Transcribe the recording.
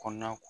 Kɔnɔna